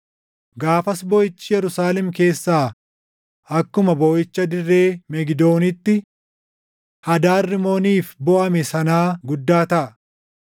Gaafas booʼichi Yerusaalem keessaa akkuma booʼicha dirree Megidoonitti Hadaad Rimooniif booʼame sanaa guddaa taʼa.